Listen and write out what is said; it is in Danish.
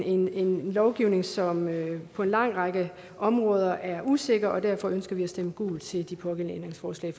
en lovgivning som på en lang række områder er usikker derfor ønsker vi at stemme gult til de pågældende ændringsforslag